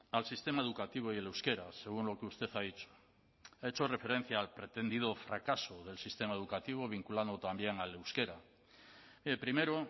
al sistema educativo y el euskera según lo que usted ha dicho ha hecho referencia al pretendido fracaso del sistema educativo vinculando también al euskera primero